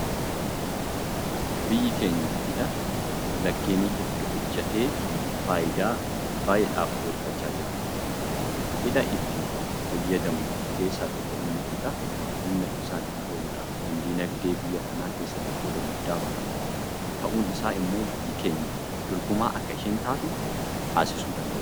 Biyyi keenya hidha laggeenii hedduu hojjettee faayidaa baay'eedhaaf oolfachaa jirti. Hidha itti fayyadamnu keessaa tokko immoo hidha humna ibsaatiif ooludha. Kun diinagdee biyya kanaa keessatti qooda guddaa bahata. Kun ta'uun isaa immoo biyyi keenya dorgomaa akka isheen taatu taasisuu danda'eera.